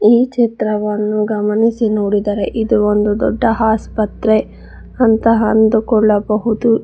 ಈ ಚಿತ್ರವನ್ನು ಗಮನಿಸಿ ನೋಡಿದರೆ ಇದು ಒಂದು ದೊಡ್ಡ ಆಸ್ಪತ್ರೆ ಅಂತ ಅಂದುಕೊಳ್ಳಬಹುದು.